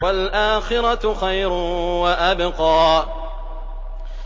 وَالْآخِرَةُ خَيْرٌ وَأَبْقَىٰ